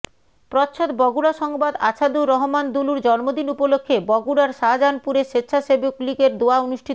প্রচ্ছদ বগুড়া সংবাদ আছাদুর রহমান দুলুর জন্মদিন উপলক্ষ্যে বগুড়ার শাজাহানপুরে স্বেচ্ছাসেবকলীগের দোয়া অনুষ্ঠিত